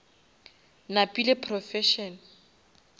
napile professor